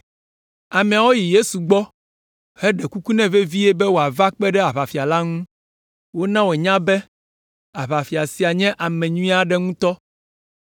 Ameawo yi Yesu gbɔ heɖe kuku nɛ vevie be wòava kpe ɖe aʋafia la ŋu. Wona wònya be aʋafia sia nye ame nyui aɖe ŋutɔ.